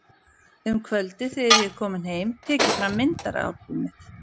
Um kvöldið þegar ég er kominn heim tek ég fram myndaalbúmið.